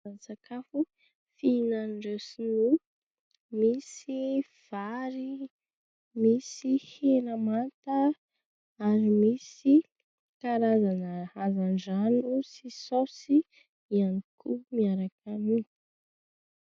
Anisan'ny sakafo fihinan'ireo sinoa. Misy vary, misy hena manta ary misy karazana hazandrano sy saosy ihany koa miaraka aminy.